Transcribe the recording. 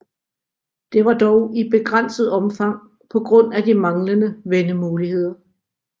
Det var dog i begrænset omfang på grund af de manglende vendemuligheder